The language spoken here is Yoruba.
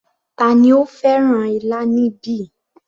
Tani ó fẹ́ràn ilá níbí